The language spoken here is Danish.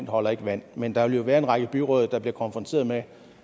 holder ikke vand men der vil jo være en række byråd der bliver konfronteret med